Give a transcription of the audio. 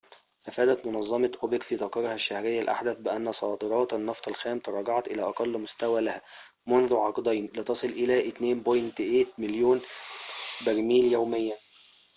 أفادت منظمة أوبك في تقريرها الشهري الأحدث بأن صادرات النفط الخام تراجعت إلى أقل مستوى لها منذ عقدين لتصل إلى 2.8 مليون برميل يومياً